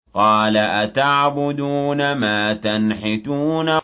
قَالَ أَتَعْبُدُونَ مَا تَنْحِتُونَ